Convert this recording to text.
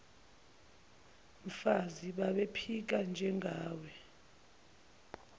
mfazi babephika njengawe